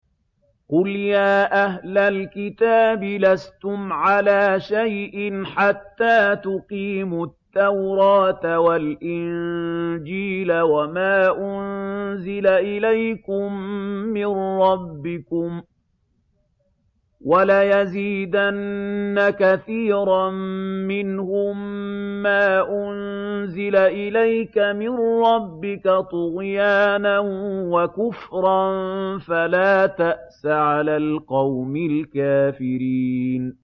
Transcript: قُلْ يَا أَهْلَ الْكِتَابِ لَسْتُمْ عَلَىٰ شَيْءٍ حَتَّىٰ تُقِيمُوا التَّوْرَاةَ وَالْإِنجِيلَ وَمَا أُنزِلَ إِلَيْكُم مِّن رَّبِّكُمْ ۗ وَلَيَزِيدَنَّ كَثِيرًا مِّنْهُم مَّا أُنزِلَ إِلَيْكَ مِن رَّبِّكَ طُغْيَانًا وَكُفْرًا ۖ فَلَا تَأْسَ عَلَى الْقَوْمِ الْكَافِرِينَ